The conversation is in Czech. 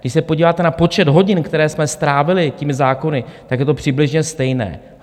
Když se podíváte na počet hodin, které jsme strávili těmi zákony, tak je to přibližně stejné.